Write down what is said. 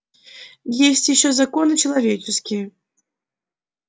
есть ещё законы человеческие